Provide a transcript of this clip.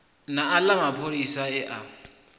na aḽa mapholisa e a